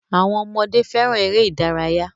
Àwọn ọmọdé fẹràn eré ìdárayá.